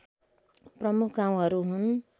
प्रमुख गाउँहरू हुन्